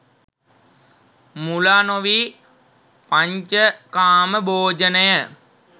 මුලා නොවී පඤ්චකාම භෝජනය